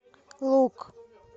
лук